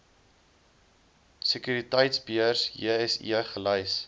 sekuriteitebeurs jse gelys